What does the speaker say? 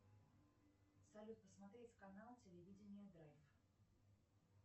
салют посмотреть канал телевидение драйв